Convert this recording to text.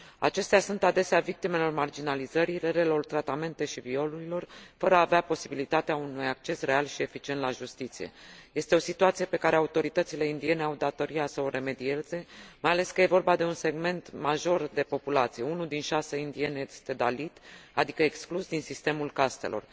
Acestea sunt adesea victimele marginalizării, relelor tratamente și violurilor, fără a avea posibilitatea unui acces real și eficient la justiție. Este o situație pe care autoritățile indiene au datoria să o remedieze, mai ales că e vorba de un segment major de populație 1 din 6 indieni este dalit, adică exclus din sistemul castelor.